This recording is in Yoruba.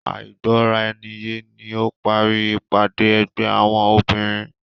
Àìgbọ́raniyé ni ó parí ìpàdé ẹgbẹ́ àwọn obìnrin.